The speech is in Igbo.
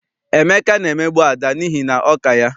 Emeka na-emegbu Ada n'ihi na ọ ka ya.